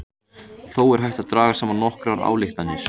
Þó er hægt að draga saman nokkrar ályktanir.